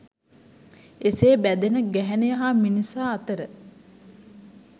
එසේ බැඳෙන ගැහැණිය හා මිනිසා අතර